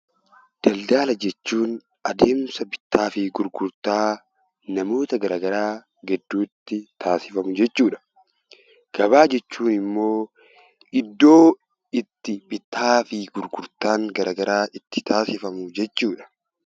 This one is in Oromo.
Daldaala jechuun adeemsa bittaa fi gurgurtaa namoota garaa garaa gidduutti taasifamu jechuudha. Gabaa jechuun immoo iddoo itti bittaa fi gurgurtaan garaa garaa itti taasifamu jechuudha.